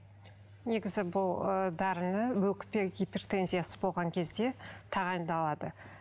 негізі бұл ыыы дәріні өкпе гипертензиясы болған кезде тағайындалады